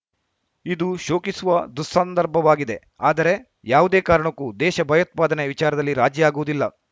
ಇದು ಶೋಕಿಸುವ ದುಸ್ಸಂದರ್ಭವಾಗಿದೆ ಆದರೆ ಯಾವುದೇ ಕಾರಣಕ್ಕೂ ದೇಶ ಭಯೋತ್ಪಾದನೆ ವಿಚಾರದಲ್ಲಿ ರಾಜಿಯಾಗುವುದಿಲ್ಲ